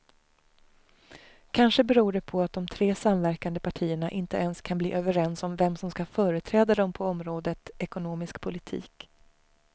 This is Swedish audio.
Kanske beror det på att de tre samverkande partierna inte ens kan bli överens om vem som ska företräda dem på området ekonomisk politik.